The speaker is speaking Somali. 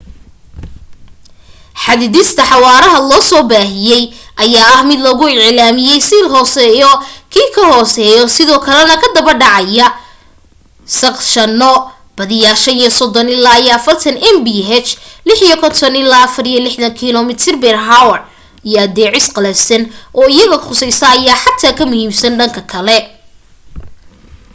xadidista xawaaraha lasoo baahiyay ayaa ah mid lagu iclaamiyay si ka hoosaysa kii kahoreeyay sidoo kalena ka daba dhacaya sagshano -badiyaa 35-40 mph 56-64km/h- iyo adeecis qalafsan oo iyaga khusaysa ayaa xataa ka muhiimsan dhanka kale